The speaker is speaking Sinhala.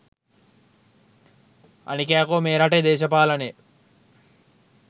අනික යකෝ මේ රටේ දේශපාලනය